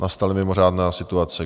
Nastala mimořádná situace.